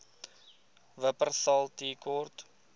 wupperthal tea court